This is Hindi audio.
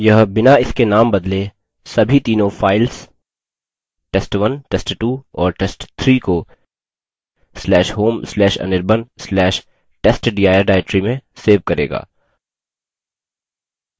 यह बिना इनके named बदले सभी तीनों files test1 test2 और test3 को/home/anirban/testdir directory में सेव करेगा